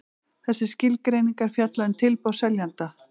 Þessar skilgreiningar fjalla um tilboð seljanda.